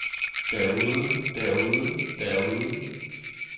derude derude derude